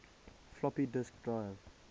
floppy disk drive